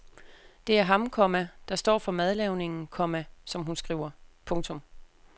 Det er ham, komma der står for madlavningen, komma som hun skriver. punktum